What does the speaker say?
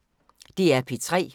DR P3